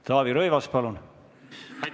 Taavi Rõivas, palun!